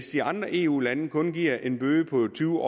de andre eu lande kun giver en bøde på tyve